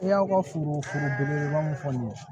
I y'aw ka fini foro belebeleba min fɔ nin ye